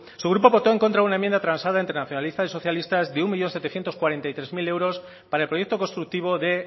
su grupo votó en contra de una enmienda transada entre nacionalistas y socialistas de un millón setecientos cuarenta y tres mil euros para el proyecto constructivo de